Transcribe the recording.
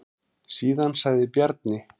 Síðan sagði Bjarni: